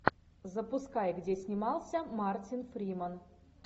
запускай где снимался мартин фриман